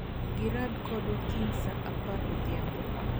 Gi rado kodwa kiny saa apar odhiambo